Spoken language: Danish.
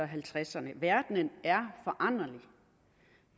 halvtredserne verden er foranderlig